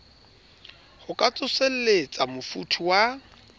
ho ka tsoselletsa mofuthu wa